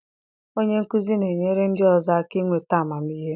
Onye nkuzi na-enyere ndị ọzọ aka inweta amamihe.